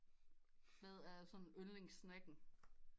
Hvad er sådan yndlings snacken